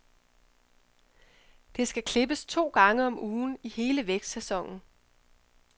Det skal klippes to gange om ugen i hele vækstsæsonen.